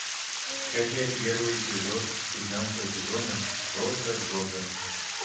скачай первый эпизод пятнадцатого сезона просто джордан